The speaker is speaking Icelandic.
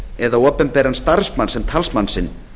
eða opinberan starfsmann sem talsmann sinn